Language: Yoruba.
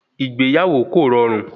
Ìgbéyàwó kò rọrùn